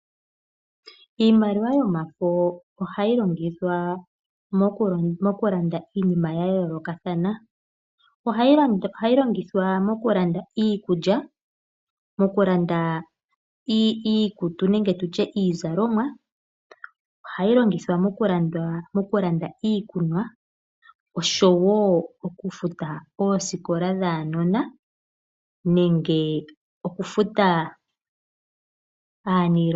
Iimaliwa yomafo ohayi longithwa mokulanda iinima ya yoolokathana. Ohayi longithwa okulanda iikulya, mokulanda iikutu nenge iizalomwa, ohayi longithwa mokulanda iikunwa oshowo okufuta oosikola dhaanona nenge okufuta aaniilonga.